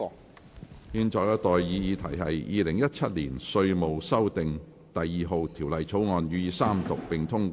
我現在向各位提出的待議議題是：《2017年稅務條例草案》予以三讀並通過。